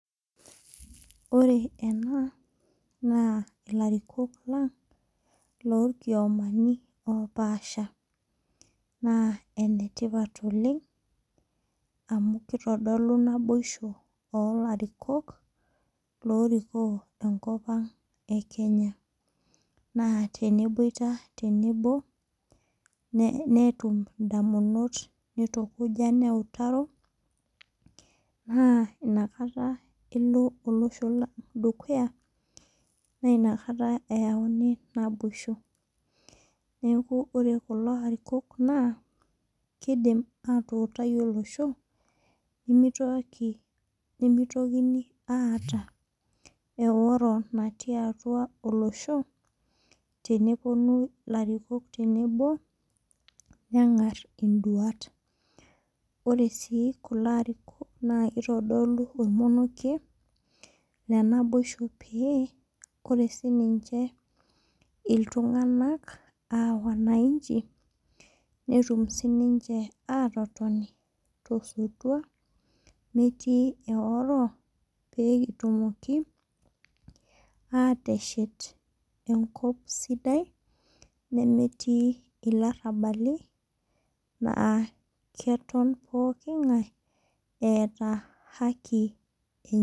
Ore enaa naa ilarikook lang' oo irkiomani opasha. Naa enetipat oleng' amu kitodolu naboisho olarikok oriki enkop ang' vee Kenya. Naa teneboitaa tenebo nitum idamunot nitukuja neutaro naa inakata elo olosho lang' dukuya naa inakata eyauni naboisho. Neeku ore kulo arikok naa kidim atuutai olosho nemitokini aata eoro naati atua olosho tenepuonu ilarikook tenebo neng'ar iduat. Ore sii kulo arikok naa kitodulu ormoniekie le naboisho pee ore sii ninche iltung'ana aa wananchi netum sii ninche atotoni to sotua metii eoro pekitumoku ateshet enkop sidai nemeeti ilarabali naa keton pookin ing'ae eeta haki enye